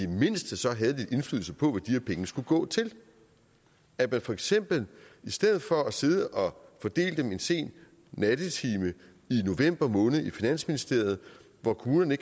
mindste så havde lidt indflydelse på hvad her penge skulle gå til at der for eksempel i stedet for at sidde og fordele dem en sen nattetime i november måned i finansministeriet hvor kommunerne